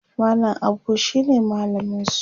mallam Abu shine mallaminsu